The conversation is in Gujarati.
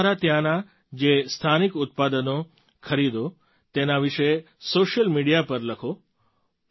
તમે તમારે ત્યાંનાં જે સ્થાનિક ઉત્પાદનો ખરીદો તેના વિશે સૉશિયલ મિડિયા પર લખો